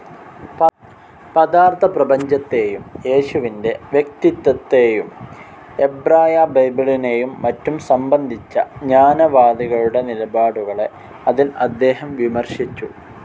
പദാർത്ഥപ്രപഞ്ചത്തേയും യേശുവിൻ്റെ വ്യക്തിത്വത്തെയും എബ്രായബൈബിളിനെയും മറ്റും സംബന്ധിച്ച ജ്ഞാനവാദികളുടെ നിലപാടുകളെ അതിൽ അദ്ദേഹം വിമർശിച്ചു.